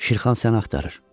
Şirxan səni axtarır.